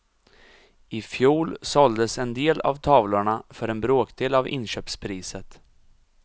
I fjol såldes en del av tavlorna för en bråkdel av inköpspriset.